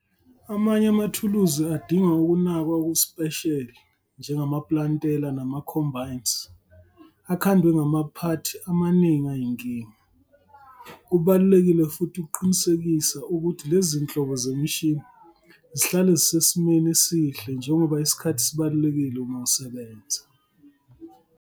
Amanye amathuluzi adinga ukunakwa okusipesheli njengamaplantela nama-combines akhandwe ngamaphathi amaningi ayinkinga. Kubalulekile futhi ukuqinisekisa ukuthi lezi zinhlobo zemishini zihlale zisesimeni esihle njengoba isikhathi sibalulekile uma usibenza.